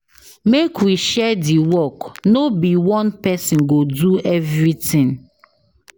Make we share di work, no be one pesin go do everytin.